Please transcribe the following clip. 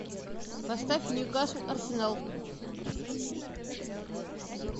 поставь ньюкасл арсенал